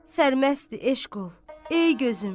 Sərməstdi eşq ol, ey gözüm.